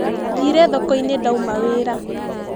Thire thokoinĩ ndauma wĩra.